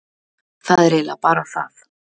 Það er eiginlega bara það.